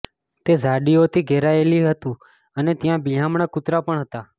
તે ઝાડીઓથી ઘેરાયેલું હતી અને ત્યાં બિહામણા કુતરા પણ હતા